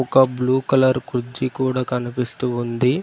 ఒక blue colour కుర్చీ కూడా కనిపిస్తూ ఉంది.